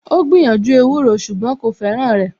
Ó gbìyànjú ewúro ṣùgbọ́n kò fẹ́ràn rẹ̀